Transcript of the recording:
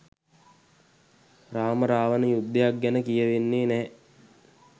රාම රාවණ යුද්ධයක් ගැන කියවෙන්නේ නැ.